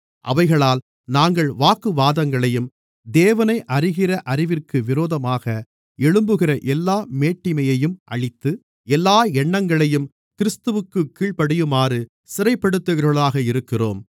அவைகளால் நாங்கள் வாக்குவாதங்களையும் தேவனை அறிகிற அறிவிற்கு விரோதமாக எழும்புகிற எல்லா மேட்டிமையையும் அழித்து எல்லா எண்ணங்களையும் கிறிஸ்துவிற்குக் கீழ்ப்படியுமாறு சிறைப்படுத்துகிறவர்களாக இருக்கிறோம்